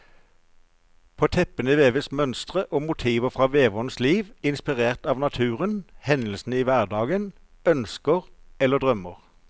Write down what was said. På teppene veves mønstre og motiver fra veverens liv, inspirert av naturen, hendelser i hverdagen, ønsker eller drømmer.